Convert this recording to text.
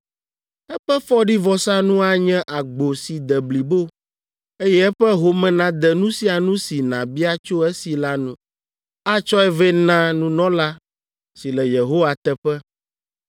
Eƒe fɔɖivɔsanu anye agbo si de blibo, eye eƒe home nade nu sia nu si nàbia tso esi la nu. Atsɔe vɛ na nunɔla si le Yehowa teƒe,